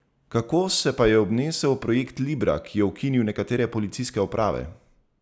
Kako se pa je obnesel projekt Libra, ki je ukinil nekatere policijske uprave?